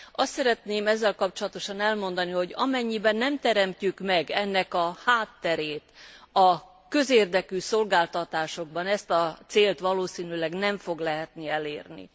Azt szeretném ezzel kapcsolatosan elmondani, hogy amennyiben nem teremtjük meg ennek a hátterét a közérdekű szolgáltatásokban, ezt a célt valószínűleg nem lehet elérni.